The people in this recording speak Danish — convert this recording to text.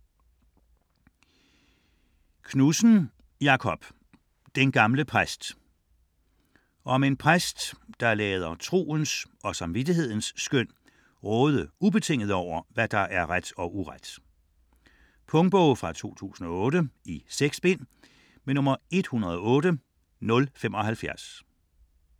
Knudsen, Jakob: Den gamle præst Om en præst, der lader troens og samvittighedens skøn råde ubetinget over, hvad der er ret og uret. Punktbog 108075 2008. 6 bind.